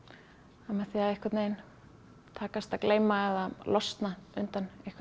að með því að takast að gleyma eða losna undan einhverju